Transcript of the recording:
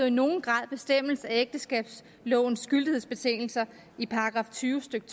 i nogen grad bestemmes af ægteskabslovens gyldighedsbetingelser i § tyve stykke